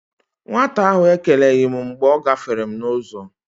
Nwata ahụ ekeneghi m mgbe ọ gáfèrè m n'uzo